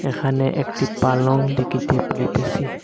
এখানে একটি পালঙ দেখিতে পাইতেসি।